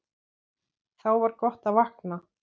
Þá var gott að vakna.